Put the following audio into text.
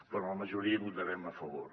però en la majoria hi votarem a favor